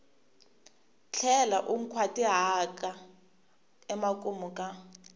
tlhela u nkhwatihata emakumu ka